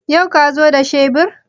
Yau ka zo da shebur?